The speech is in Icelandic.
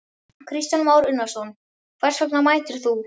Kristján Már Unnarsson: Hvers vegna mætir þú?